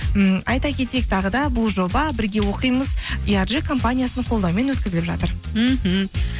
м айта кетейік тағы да бұл жоба бірге оқимыз компаниясының қолдауымен өткізіліп жатыр мхм